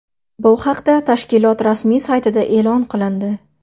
Bu haqda tashkilot rasmiy saytida e’lon qilindi .